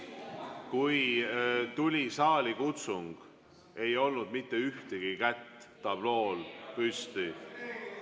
Kui tuli saalikutsung, ei olnud mitte ühtegi kätt tablool püsti.